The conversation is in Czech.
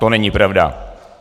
To není pravda.